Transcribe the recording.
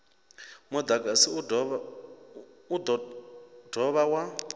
mudagasi u do dovha wa